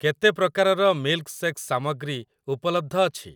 କେତେ ପ୍ରକାରର ମିଲ୍କଶେକ୍ସ୍‌ ସାମଗ୍ରୀ ଉପଲବ୍ଧ ଅଛି?